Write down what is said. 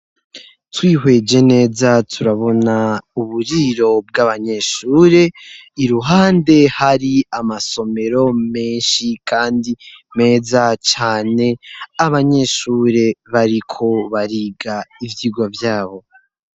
Twihweje neza turabona uburiro bw'abanyeshure, iruhande hari amasomero menshi kandi meza cane ,abanyeshure bariko bariga ivyigwa vyabo.